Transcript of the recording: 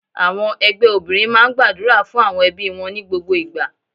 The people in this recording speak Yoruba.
Àwọn ẹgbẹ́ obìnrin máa ń gbàdúrà fún àwọn ẹbí wọn ní gbogbo ìgbà.